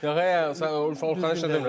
Yox, ay, sən Orxandan şikayət eləmirəm.